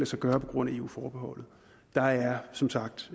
sig gøre på grund af eu forbeholdet der er som sagt